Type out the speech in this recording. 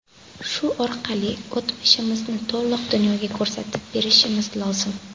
Shu orqali o‘tmishimizni to‘liq dunyoga ko‘rsatib berishimiz lozim.